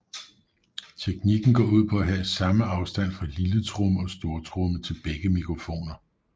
Teknikken går ud på at have samme afstand fra lilletromme og stortromme til begge mikrofoner